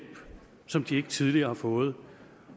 som de ikke tidligere har fået